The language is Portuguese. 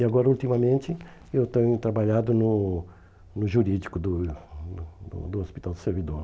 E agora ultimamente eu tenho trabalhado no no jurídico do né do hospital do servidor.